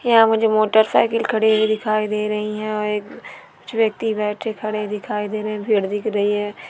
यहाँ मुझे मोटरसाइकिल खड़ी हुई दिखाई दे रही है और कुछ व्यक्ति बैठे खड़े दिखाई देने फिर दिख रही है भीड़ दिख रही है